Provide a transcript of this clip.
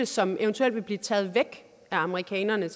som eventuelt vil blive taget væk af amerikanerne